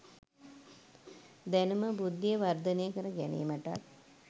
දැනුම බුද්ධිය වර්ධනය කර ගැනීමටත්